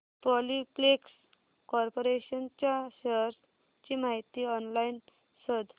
Polyplex corporation च्या shares ची माहिती ऑनलाइन शोध